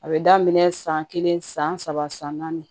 A bɛ daminɛ san kelen san saba san naani